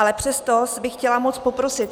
Ale přesto bych chtěla moc poprosit.